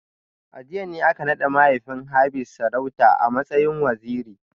A jiya ne aka nada mahaifin Hafiz sarauta a matsayin Waziri